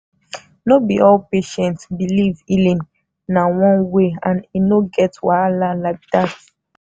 no be all patients believe healing na one way and e no get wahala like that.